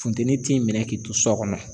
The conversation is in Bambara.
Funteni t'i minɛ k'i to sɔ kɔnɔ